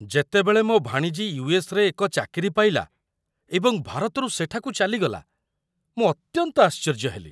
ଯେତେବେଳେ ମୋ ଭାଣିଜୀ ୟୁ.ଏସ୍.ରେ ଏକ ଚାକିରି ପାଇଲା ଏବଂ ଭାରତରୁ ସେଠାକୁ ଚାଲିଗଲା, ମୁଁ ଅତ୍ୟନ୍ତ ଆଶ୍ଚର୍ଯ୍ୟ ହେଲି।